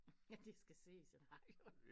Ja det skal ses i radio